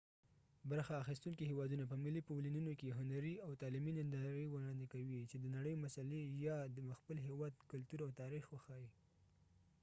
برخه اخیستونکي هیوادونه په ملي پویلینونو کې هنري او تعلیمي نندارې وړاندې کوي چې د نړۍ مسلي یا د خپل هیواد کلتور او تاریخ وښيي